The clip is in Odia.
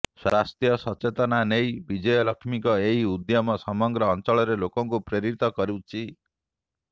ସ୍ୱାସ୍ଥ୍ୟ ସଚେତନତା ନେଇ ବିଜୟଲକ୍ଷ୍ମୀଙ୍କ ଏହି ଉଦ୍ୟମ ସମଗ୍ର ଅଞ୍ଚଳରେ ଲୋକଙ୍କୁ ପ୍ରେରିତ କରୁଛି